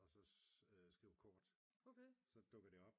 Og så skriver kort så dukker det op